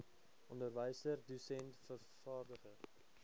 onderwyser dosent vervaardiger